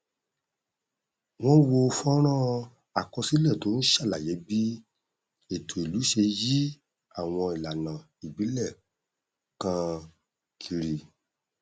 wọn wo fọnrán àkọsílẹ tó n ṣàlàyé bí ẹtọ ìlú ṣe yí àwọn ìlànà ìbílẹ káàkiri